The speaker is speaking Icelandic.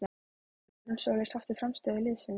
Er Guðrún Sóley sátt við frammistöðu liðsins?